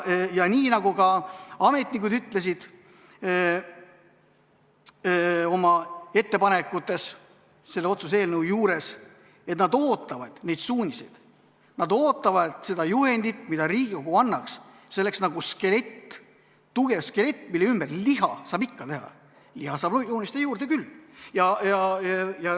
Nii nagu ka ametnikud ütlesid oma ettepanekutes selle otsuse eelnõu kohta: nad ootavad neid suuniseid, nad ootavad seda juhendit, mida Riigikogu annaks, see oleks nagu tugev skelett, millele saab liha joonistada juurde küll.